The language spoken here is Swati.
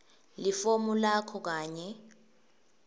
lifomu lakho kanye